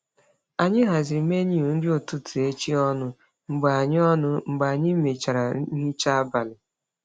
Anyị haziri menu nri ụtụtụ echi ọnụ mgbe anyị ọnụ mgbe anyị mechara nhicha abalị.